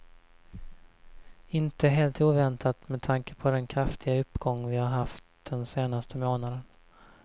Inte helt oväntat med tanke på den kraftiga uppgång vi har haft den senaste månaden.